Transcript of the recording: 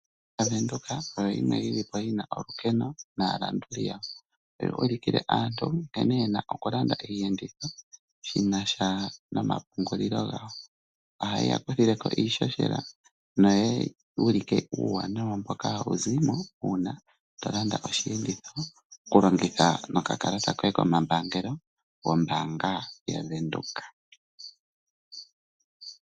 Ombaanga ya Venduka oyo yimwe yi na olukeno naalanduli yawo. Oha hi ulikile aantu nkene ye na okulanda iiyenditho shi na sha nomapungulilo gawo. Oha yi ya tulile ko iihohela no ku ulika uuwanawa mboka ha wu zimo uuna to landa oshiyenditho. Okulongitha nokakalalata koye komambaangangelo gombaanga ya Venduka.